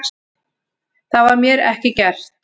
Það var mér ekki gert